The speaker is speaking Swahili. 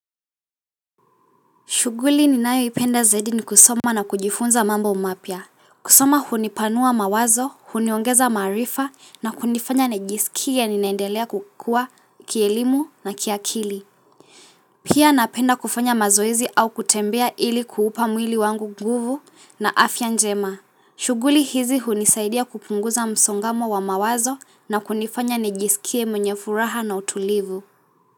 Shughuli ninayoipenda zaidi ni kusoma na kujifunza mambo mapya. Kusoma hunipanua mawazo, huniongeza maarifa na kunifanya nijisikie ninaendelea kukua kielimu na kiakili. Pia napenda kufanya mazoezi au kutembea ili kuupa mwili wangu nguvu na afya njema. Shughuli hizi hunisaidia kupunguza msongamano wa mawazo na kunifanya nijisikie mwenye furaha na utulivu.